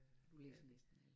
Du læser næsten alt